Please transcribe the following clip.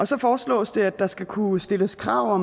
så foreslås det at der skal kunne stilles krav